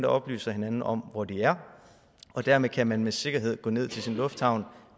oplyser hinanden om hvor de er og dermed kan man med sikkerhed gå ned til sin lufthavn